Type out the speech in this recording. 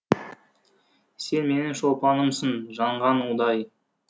сен менің шолпанымсың жанған ұдай